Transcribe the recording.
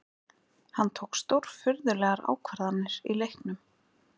Hann tók stórfurðulegar ákvarðanir í leiknum